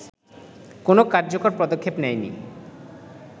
কোনো কার্যকর পদক্ষেপ নেয়নি